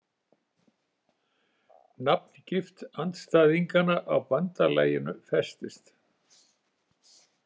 Nafngift andstæðinganna á bandalaginu festist.